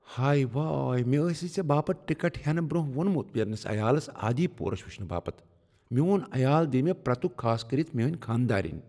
ہَے ، واے مےٚ آسہی ژےٚ باپت ٹکٹ ہینہٕ برٛۄنٛہہ وُنمت پنٛنس عیالس "آدی پورش" وٕچھنہٕ باپت۔ میٛون عیال دیہ مےٚ پرٛتکھ، خاص کٔرتھ میٛٲنۍ خانداریٚنۍ۔